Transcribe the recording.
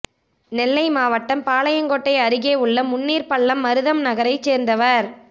நெல்லை மாவட்டம் பாளையங்கோட்டை அருகே உள்ள முன்னீர்பள்ளம் மருதம் நகரைச் சேர்ந்தவர்